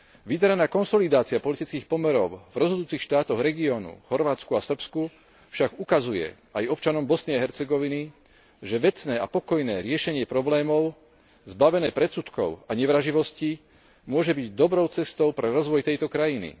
Vydarená konsolidácia politických pomerov v rozhodujúcich štátoch regiónu v Chorvátsku a v Srbsku však ukazuje aj občanom Bosny a Hercegoviny, že vecné a pokojné riešenie problémov, zbavené predsudkov a nevraživosti, môže byť dobrou cestou pre rozvoj tejto krajiny.